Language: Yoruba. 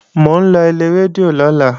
Mò ń lọ ilé rédíò lọ́la